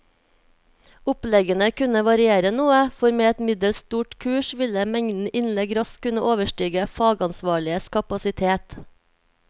Oppleggene kunne variere noe, for med et middels stort kurs ville mengden innlegg raskt kunne overstige fagansvarliges kapasitet.